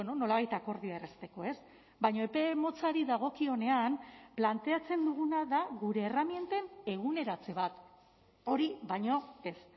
nolabait akordioa errazteko baina epe motzari dagokionean planteatzen duguna da gure erreminten eguneratze bat hori baino ez